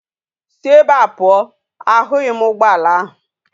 Si ebe a puo! ahughi m ugboala ahu!